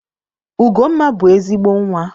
Ugomma bụ ezigbo Nwa.